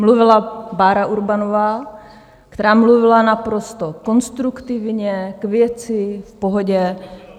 Mluvila Bára Urbanová, která mluvila naprosto konstruktivně, k věci, v pohodě.